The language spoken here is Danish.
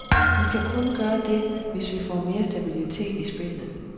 Vi kan kun gøre det, hvis vi får mere stabilitet i spillet.